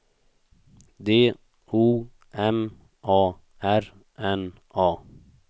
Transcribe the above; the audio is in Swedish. D O M A R N A